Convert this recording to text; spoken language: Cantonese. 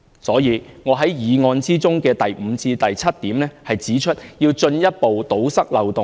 故此，我在議案中的第五點至第七點指出，要進一步堵塞漏洞。